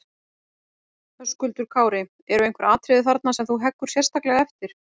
Höskuldur Kári: Eru einhver atriði þarna sem þú heggur sérstaklega eftir?